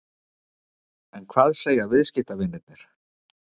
En hvað segja viðskiptavinirnir?